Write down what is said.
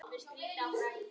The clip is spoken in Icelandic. Takk Heimir.